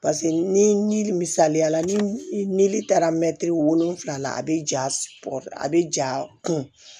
ni misaliya la nili taara mɛtiri wolonwula la a bɛ ja a bɛ ja kun